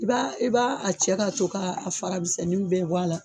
I b'a, i b'a a cɛ ka ton ka fara misɛnnin bɛɛ bɔ a la.